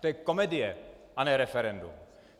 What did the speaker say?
To je komedie, a ne referendum!